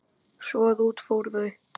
Svo að út fóru þau.